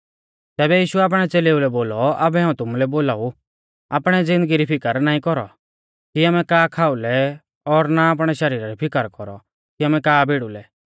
तैबै यीशुऐ आपणै च़ेलेऊ लै बोलौ आबै हाऊं तुमुलै बोलाऊ आपणै ज़िन्दगी री फिकर नाईं कौरौ कि आमै का खाऊ लै और ना आपणै शरीरा री फिकर कौरौ कि आमै का भिड़ु लै